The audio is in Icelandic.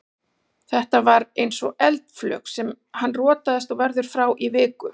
Þetta var eins og eldflaug, hann rotaðist og verður frá í viku.